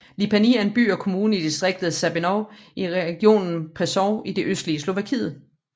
Lipany er en by og kommune i distriktet Sabinov i regionen Prešov i det østlige Slovakiet